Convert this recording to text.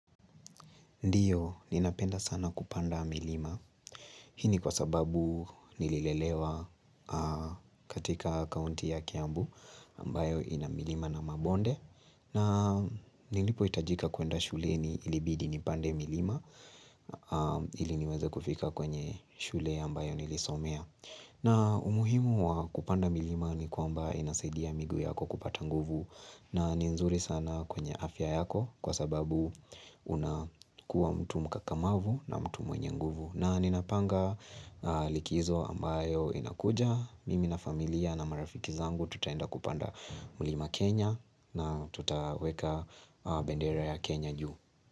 Ndiyo, ninapenda sana kupanda milima. Hii ni kwa sababu nililelewa katika kaunti ya Kiambu ambayo ina milima na mabonde. Na nilipoitajika kuenda shuleni ilibidi nipande milima. Ili niweza kufika kwenye shule ambayo nilisomea. Na umuhimu wa kupanda milima ni kwamba inasaidia miguu yako kupata nguvu. Na ni nzuri sana kwenye afya yako kwa sababu unakuwa mtu mkakamavu na mtu mwenye nguvu. Na ninapanga likizo ambayo inakuja mimi na familia na marafiki zangu tutaenda kupanda mlima Kenya na tutaweka bendera ya Kenya juu.